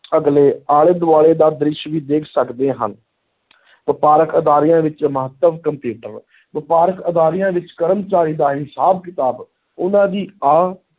ਅਗਲੇ ਆਲੇ ਦੁਆਲੇ ਦਾ ਦ੍ਰਿਸ਼ ਵੀ ਦੇਖ ਸਕਦੇ ਹਨ ਵਪਾਰਕ ਅਦਾਰਿਆਂ ਵਿੱਚ ਮਹੱਤਵ ਕੰਪਿਊਟਰ, ਵਪਾਰਕ ਅਦਾਰਿਆਂ ਵਿਚ ਕਰਮਚਾਰੀਆਂ ਦਾ ਹਿਸਾਬ ਕਿਤਾਬ ਉਨਾਂ ਦੀ ਆਹ